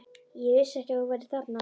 Ég vissi ekki að þú værir þarna.